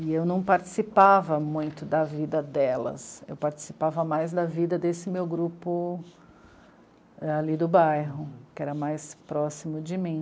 E eu não participava muito da vida delas, eu participava mais da vida desse meu grupo ali do bairro, que era mais próximo de mim.